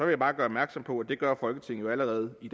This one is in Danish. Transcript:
jeg bare gøre opmærksom på at det gør folketinget jo allerede i